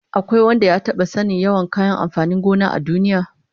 Akwai wanda ya taba sanin yawan kayan amfanin gona a duniya?